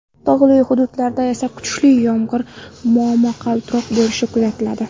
Tog‘li hududlarda esa kuchli yomg‘ir, momaqaldiroq bo‘lishi kuzatiladi.